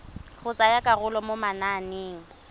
go tsaya karolo mo mananeng